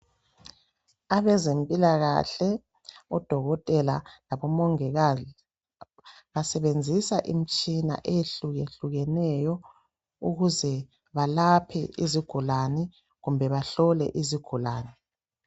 Abazempilakahle, odokotela labomongikazi basebenzisa itshina eyehlukehlukeneyo, ukuze balaphe izigulane kumbe bahlole izigulane.